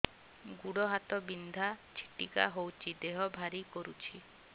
ଗୁଡ଼ ହାତ ବିନ୍ଧା ଛିଟିକା ହଉଚି ଦେହ ଭାରି କରୁଚି